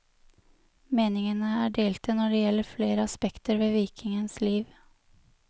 Meningene er delte når det gjelder flere aspekter ved vikingens liv.